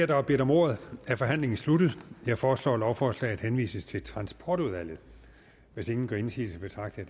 der har bedt om ordet er forhandlingen sluttet jeg foreslår at lovforslaget henvises til transportudvalget hvis ingen gør indsigelse betragter